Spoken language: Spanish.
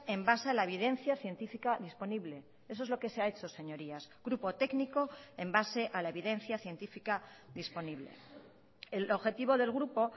en base a la evidencia científica disponible eso es lo que se ha hecho señorías grupo técnico en base a la evidencia científica disponible el objetivo del grupo